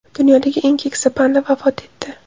Dunyodagi eng keksa panda vafot etdi.